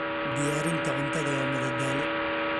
Diyaarinta cuntada waa madadaalo.